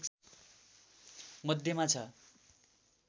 मध्यमा छ